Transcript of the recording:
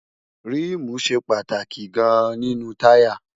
ríìmù ṣe pàtàkì gan-an nínú táyà